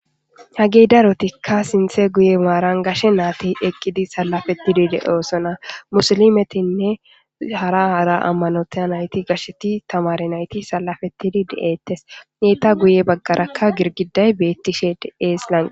Hagey darotikka sinthe guye maaran gashe naati eqqidi sallafettidi de7osona musilimetinne hara hara ammanota nayti gasheti tamare nayti sallafetidi de7ettes neeta guye baggarakka girgiday beettishe de eeslanq